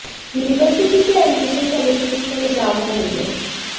university की admission committee इस पर विचार कर रही है